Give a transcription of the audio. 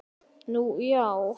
Nú, já.